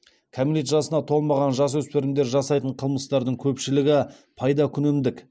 кәмелет жасына толмаған жасөспірімдер жасайтын қылмыстардың көпшілігі пайдакүнемдік